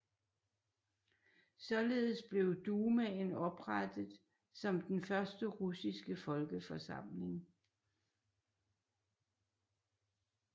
Således blev Dumaen oprettet som den første russiske folkeforsamling